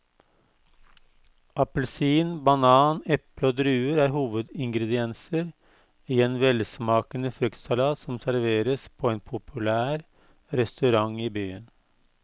Appelsin, banan, eple og druer er hovedingredienser i en velsmakende fruktsalat som serveres på en populær restaurant i byen.